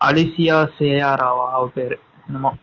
அதிசய செய்யாராவ அவ பெயரு என்னமோ